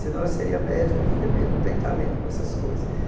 senão eu seria médico ou enfermeiro, não tenho talento para essas coisas.